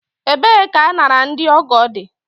Ebee ka añara ndị ọgọ dị?